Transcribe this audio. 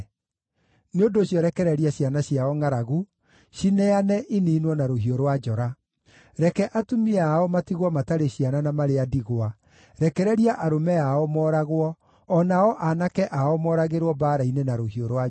Nĩ ũndũ ũcio rekereria ciana ciao ngʼaragu; cineane, iniinwo na rũhiũ rwa njora. Reke atumia ao matigwo matarĩ ciana, na marĩ a ndigwa; rekereria arũme ao mooragwo, o nao aanake ao mooragĩrwo mbaara-inĩ na rũhiũ rwa njora.